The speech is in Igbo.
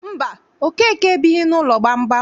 Mba, Okeke ebighị n'ụlọ gbamgbam.